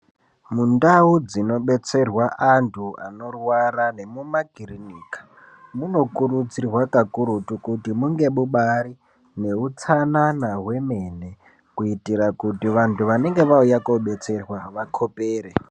Mundau dzinobetserwa antu anorwara nemumakirinika munokurudzirwa kakurutu kuti munge mubari neutsanana hwemene kuitira kuti vantu vanenge vauya kobetserwa vakhopere.